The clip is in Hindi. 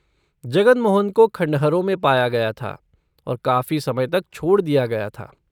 जगन मोहन को खंडहरों में पाया गया था और काफी समय तक छोड़ दिया गया था।